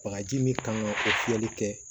Bagaji min kan ka o fiyɛli kɛ